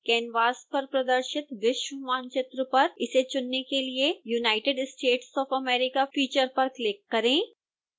canvas पर प्रदर्शित विश्व मानचित्र पर इसे चुनने के लिए united states of america feature पर क्लिक करें